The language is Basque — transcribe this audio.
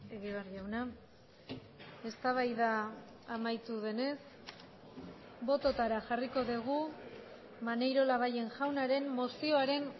egibar jauna eztabaida amaitu denez bototara jarriko dugu maneiro labayen jaunaren mozioaren